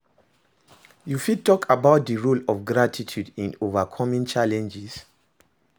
You fit talk about di role of gratitude in overcoming challenges?